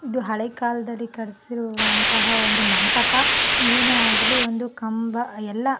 ಇದು ಹಳೆ ಕಾಲದಲ್ಲಿ ಕಟಿಸಿರುವಂಥ ಒಂದು ಮಂಟಪ ಏನೆ ಆಗಲಿ ಒಂದು ಕಂಬ ಎಲ್ಲಾ --